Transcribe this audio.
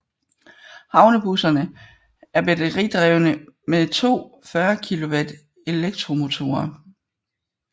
Havnebusserne er batteridrevne med to 40 kW elektromotorer